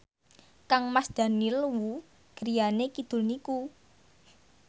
kangmas Daniel Wu griyane kidul niku